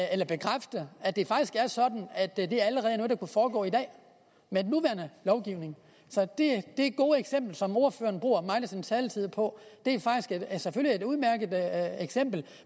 at bekræfte at det faktisk er sådan at det er noget der allerede kunne foregå i dag med den nuværende lovgivning så det gode eksempel som ordføreren bruger meget af sin taletid på er selvfølgelig et udmærket eksempel